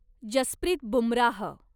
Jasprit Bumrah